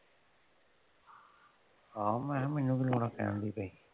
ਆਹੋ ਮੈਂ ਕਿਹਾ ਮੈਨੂੰ ਕੀ ਲੋੜ ਆ ਕਹਿਣ ਦੀ ਬੀ।